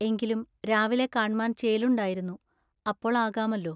എങ്കിലും രാവിലെ കാണ്മാൻ ചേലുണ്ടായിരുന്നു. അപ്പോൾ ആകാമെല്ലോ.